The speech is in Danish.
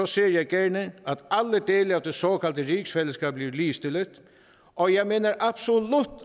ser jeg gerne at alle dele af det såkaldte rigsfællesskab bliver ligestillet og jeg mener absolut